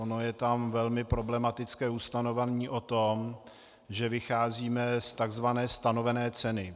Ono je tam velmi problematické ustanovení o tom, že vycházíme z tzv. stanovené ceny.